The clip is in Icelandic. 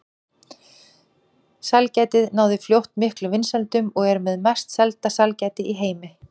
Sælgætið náði fljótt miklum vinsældum og er með mest selda sælgæti í heimi.